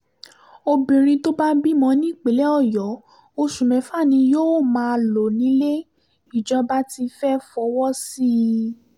obìnrin tó bá bímọ nípínlẹ̀ ọyọ́ oṣù mẹ́fà ni yóò máa lò nílé ìjọba tí fẹ́ẹ́ fọwọ́ sí i